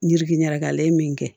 Yirikili ɲagakɛla ye min kɛ